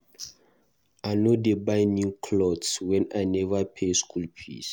I no dey buy new cloths wen I neva pay school fees.